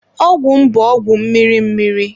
Ọgwụ m bụ ọgwụ mmiri mmiri.